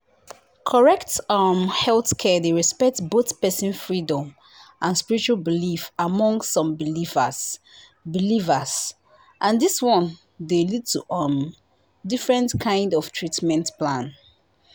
correct um healthcare dey respect both person freedom and spiritual belief among some believers believers and this one dey lead to um different kind 0f treatment plan